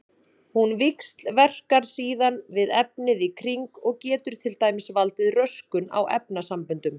Hún víxlverkar síðan við efnið í kring og getur til dæmis valdið röskun á efnasamböndum.